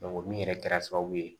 min yɛrɛ kɛra sababu ye